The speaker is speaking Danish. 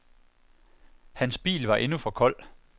Hans bil var endnu for kold.